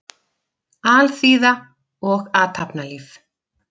Alþýða og athafnalíf.